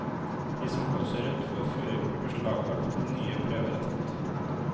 De som blåser rødt, får førerkortet beslaglagt til nye prøver er tatt.